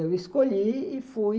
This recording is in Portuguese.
Eu escolhi e fui.